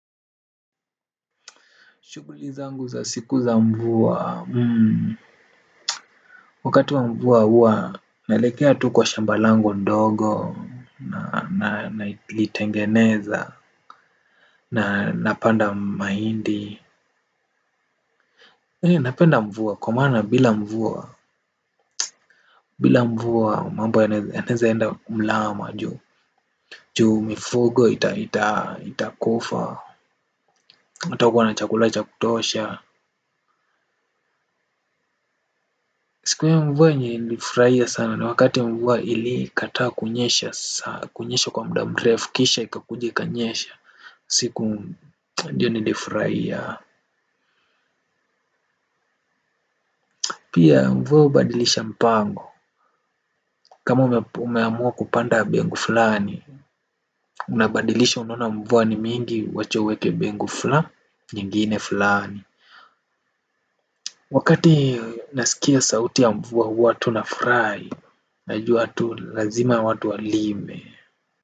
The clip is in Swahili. Shughuli zangu za siku za mvua wakati wa mvua hua naelekea tu kwa shamba langu ndogo na litengeneza na napanda mahindi. Hee napenda mvua kwa maana bila mvua bila mvua mambo yanaeza enda mlama juu. Juu mifugo ita kufa hata kuwa na chakula cha kutosha. Siku ya mvua yenye nilifurahia sana na wakati ya mvua ili kataa kunyesha saa kunyesha kwa mda mrefu kisha ikakuja ikakanyesha siku ndio nilifurahia. Pia mvua hubadilisha mpango kama umeamua kupanda bengu fulani. Unabadilisha unona mvua ni mingi wacha uweke bengu fula nyingine fulani. Wakati nasikia sauti ya mvua huwa tuna furahi najua tu lazima watu walime.